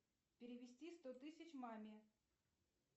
перевести сто тысяч маме